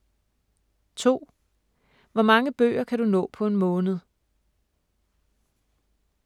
2) Hvor mange bøger kan du nå på en måned?